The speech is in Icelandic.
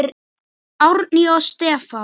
Árný og Stefán.